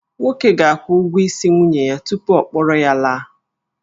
Nwoke ga-akwụ ụgwọ isi nwunye ya tupu ọ kpọrọ ya laa